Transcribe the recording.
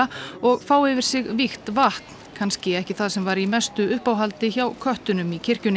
og fá yfir sig vígt vatn kannski ekki það sem var í mestu uppáhaldi hjá köttunum í kirkjunni